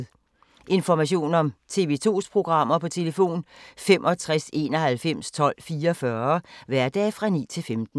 Information om TV 2's programmer: 65 91 12 44, hverdage 9-15.